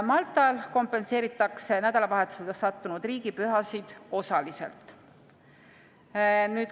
Maltal kompenseeritakse nädalavahetusele sattunud riigipühasid osaliselt.